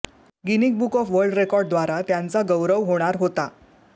गिनिक book of world record द्वारा त्यांचा गौरव होणार होता